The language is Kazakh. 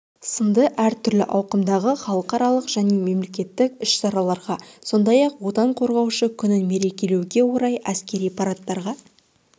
сынды әртүрлі ауқымдағы халықаралық және мемлекеттік іс-шараларға сондай-ақ отан қорғаушы күнін мерекелеуге орай әскери парадтарға